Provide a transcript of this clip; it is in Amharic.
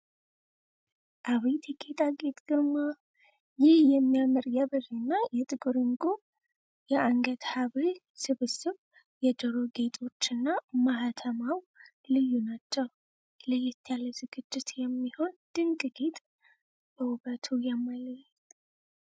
አቤት የጌጣጌጥ ግርማ! ይህ የሚያምር የብር እና የጥቁር ዕንቁ የአንገት ሐብል ስብስብ! የጆሮ ጌጦች እና ማሕተማው ልዩ ናቸው። ለየት ያለ ዝግጅት የሚሆን ድንቅ ጌጥ! በውበቱ ያማልላል!